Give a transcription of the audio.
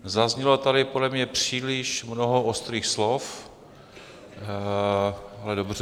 Zaznělo tady podle mě příliš mnoho ostrých slov, ale dobře.